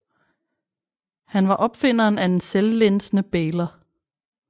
Han var opfinderen af den selvlænsende bailer